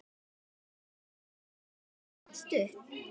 Það samband stóð stutt.